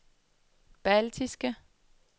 baltiske